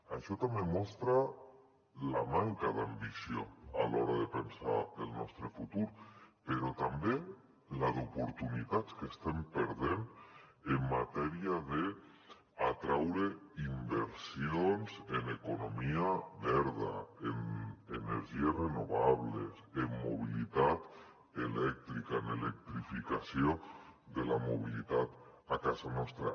això també mostra la manca d’ambició a l’hora de pensar el nostre futur però també la d’oportunitats que estem perdent en matèria d’atraure inversions en economia verda en energies renovables en mobilitat elèctrica en l’electrificació de la mobilitat a casa nostra